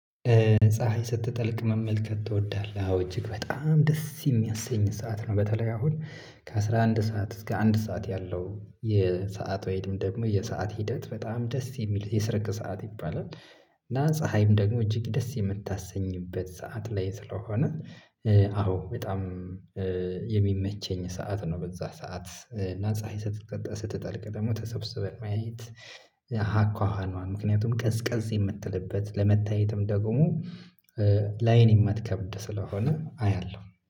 ፀሀይ ስትጠልቅ መመልከት ትወዳለህ? አዎ እጅግ በጣም ደስ የሚያሰኝ ሰዓት ነው። በተለይ አሁን ከአስራ አንድ ሰዓት እስከ አንድ ሰዓት ያለው የሰዓት ወይም ደግሞ የሰዓት ሂደት በጣም ደስ የሚል የስርቅ ሰዓት ይባላል። እና ፀሀይም ደግሞ እጅግ ደስ የምታሰኝበት ሰዓት ላይ ስለሆነ። አዎ በጣም የሚመቸኝ ሰዓት ነው። በዛ ሰዓት ናፀሃይ ስትጠልቅ ደግሞ ተሰብስበን ማየት። ሀኳሃኗን ምክንያቱም ቀዝቀዝ የምትልበት ለመታየትም ደግሞ ላአይን የማትከብድ ስለሆነ አያለሁ